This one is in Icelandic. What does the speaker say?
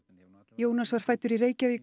Jónas var fæddur í Reykjavík